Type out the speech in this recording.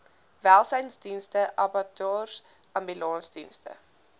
welsynsdienste abattoirs ambulansdienste